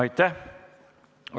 Aitäh!